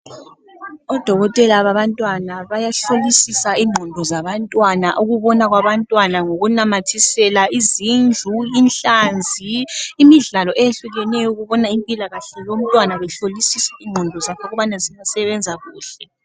Odokotela babantwana bayahlolisisa ingqondo zabantwana, ukubona kwabantwana ngokunamathisela izindlu, inhlanzi, imidlalo eyehlukeneyo ukubona impilakahle yomntwana behlolisisa ingqondo zakhe ukubana ziyasebenza kuhle